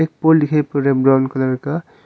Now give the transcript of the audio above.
एक पोल दिखाई पर रहा है ब्राउन कलर का।